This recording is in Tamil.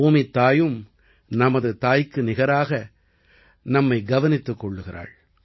பூமித்தாயும் நமது தாய்க்கு நிகராக நம்மை கவனித்துக் கொள்கிறாள்